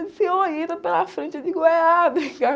Disse, oi, entra pela frente. Eu digo, é? Ah, obrigada.